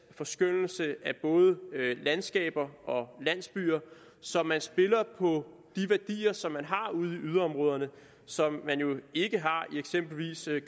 forskønnelse af både landskaber og landsbyer så man spiller på de værdier som man har ude i yderområderne og som man jo ikke har i eksempelvis